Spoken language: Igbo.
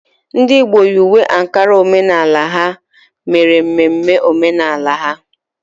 Ndị Igbo yi uwe Ankara omenala ha mere mmemme omenala ha.